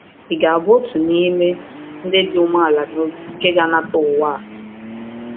Ị ga-abụ otu n’ime “ndị dị umeala n’obi” nke ga-anata ụwa?